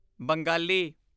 Bengali